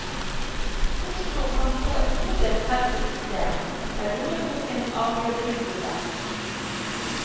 Oslo kan få et todelt helsesystem, der lommeboken avgjør tilbudet.